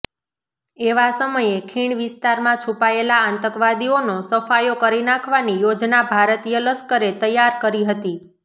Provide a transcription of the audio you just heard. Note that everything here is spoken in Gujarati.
એવા સમયે ખીણ વિસ્તારમાં છૂપાયેલા આતંકવાદીઓનો સફાયો કરી નાખવાની યોજના ભારતીય લશ્કરે તૈયાર કરી હતી